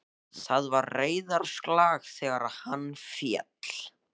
Það var reiðarslag þegar hann féll.